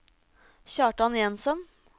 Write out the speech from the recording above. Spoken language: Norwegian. Kjartan Jensen